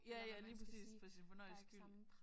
Ja ja lige præcis for sin fornøjelses skyld